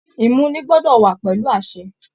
Imuni gbọdọ wà pẹlú àṣẹ.